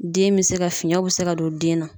Den bɛ se ka ,fiɲɛw bɛ se ka don den na.